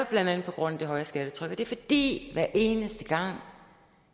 blandt andet på grund af det høje skattetryk det er fordi hver eneste gang